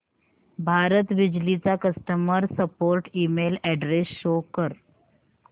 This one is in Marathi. भारत बिजली चा customer support email address show कर